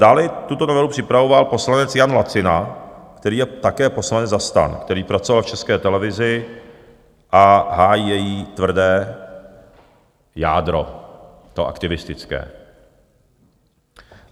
Dále tuto novelu připravoval poslanec Jan Lacina, který je také poslanec za STAN, který pracoval v České televizi a hájí její tvrdé jádro, to aktivistické.